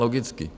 Logicky.